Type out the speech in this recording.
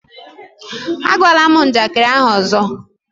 Ágwala m njakịrị ahụ ọzọ!